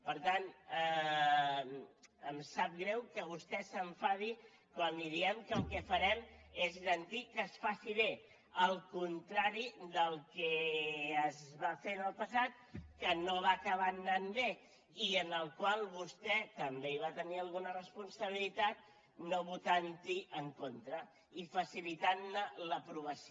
per tant em sap greu que vostè s’enfadi quan li diem que el que farem és garantir que es faci bé al contrari del que es va fer en el passat que no va acabar anant bé i en el qual vostè també va tenir alguna responsabilitat no votant hi en contra i facilitant ne l’aprovació